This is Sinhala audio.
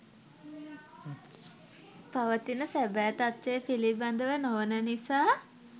පවතින සැබෑ තත්වය පිළිබඳව නොවන නිසා